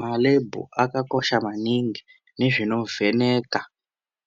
Malebhu akakosha maningi nezvinovheneka